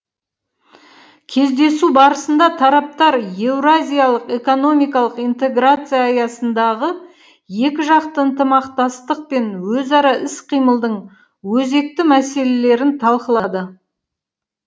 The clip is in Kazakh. кездесу барысында тараптар еуразиялық экономикалық интеграция аясындағы екіжақты ынтымақтастық пен өзара іс қимылдың өзекті мәселелерін талқылады